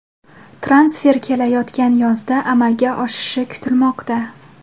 Transfer kelayotgan yozda amalga oshishi kutilmoqda.